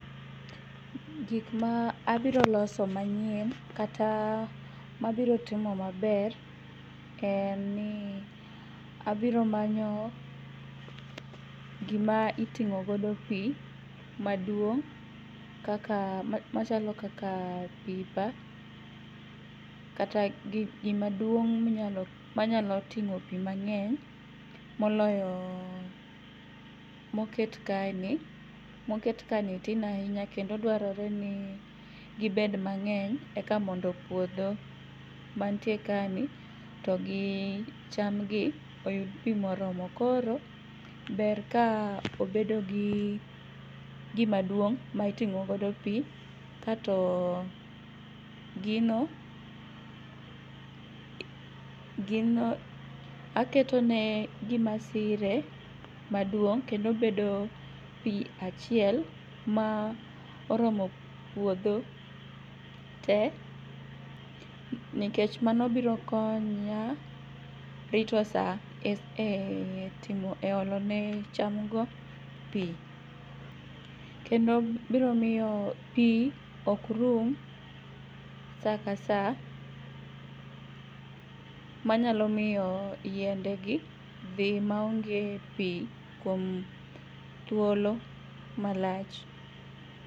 Gikmaabiro loso manyien kata mabirotimo maber en ni abiromanyo gima iting'o godo pii maduong' kaka machalo kaka pipa kata gima duong' manyalo ting'o pii mang'eny moloyo moket kaeni. Moket kaeni tin ainya kendo dwarore ni gibed mang'eny eka mondo puodho mantie ka ni to gi chamgi oyud pii moromo. Koro ber ka obedogi gimaduong' ma iting'ogodo pii kato gino aketone gimasire maduong' kendo bedo pii achiel ma oromo puodho tee nekech mano birokonya rito saa e timo, eolone chamgo pii kendo biro miyo pii okrum sakasaa manyalomiyo yiendegi dhi maonge pii kuom thuolo malach.